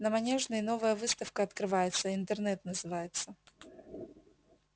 на манежной новая выставка открывается интернет называется